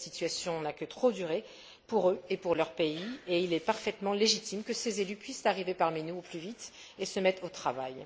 Cette situation n'a que trop duré, pour eux et pour leur pays, et il est parfaitement légitime que ces élus puissent arriver parmi nous au plus vite et se mettre au travail.